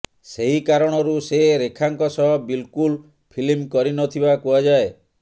ସେହି କାରଣରୁ ସେ ରେଖାଙ୍କ ସହ ବିଲକୁଲ ଫିଲ୍ମ କରିନଥିବା କୁହାଯାଏ